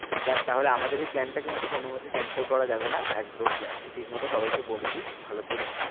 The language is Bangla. যাক তাহলে আমাদের এই plan টা কিন্তু কোনো মতেই cancel করা যাবে না, একদম তুই ঠিক মতো সবাইকে বলে দিস ভালো করে।